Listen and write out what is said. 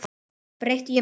Breytti ég um skoðun?